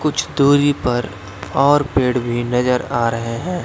कुछ दूरी पर और पेड़ भी नजर आ रहे हैं।